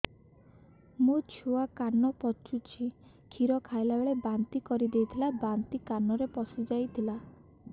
ମୋ ଛୁଆ କାନ ପଚୁଛି କ୍ଷୀର ଖାଇଲାବେଳେ ବାନ୍ତି କରି ଦେଇଥିଲା ବାନ୍ତି କାନରେ ପଶିଯାଇ ଥିଲା